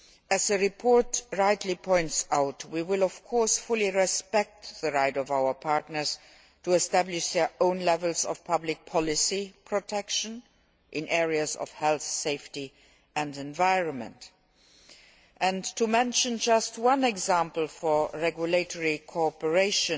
As the report rightly points out we will of course fully respect the right of our partners to establish their own levels of public policy protection in the areas of health, safety and the environment. I will mention just one example of regulatory cooperation,